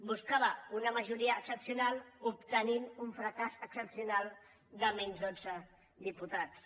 buscava una majoria excepcional i va obtenir un fracàs excepcional de menys dotze diputats